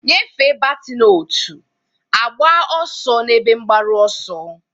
Nyefee batin, otu, agba ọsọ n'ebe mgbaru ọsọ.